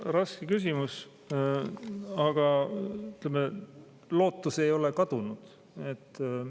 Raske küsimus, aga, ütleme, lootus ei ole kadunud.